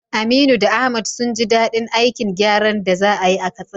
Aminu da Ahmad sun ji dadin aikin gyaran da za a yi a Katsina.